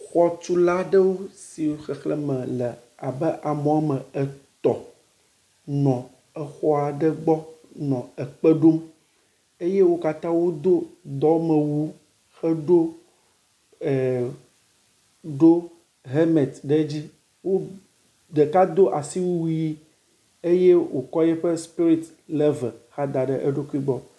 Xɔtula ɖewo si xexleme le abe ame wɔme etɔ̃ nɔ exɔ aɖe gbɔ nɔ kpe ɖom eye o katã wodo dɔmewu heɖo e ɖo hemet ɖe dzi. Wo ɖeka do asiewu ʋi eye wokɔ eƒe sipirit level hã da ɖe eɖokui gbɔ.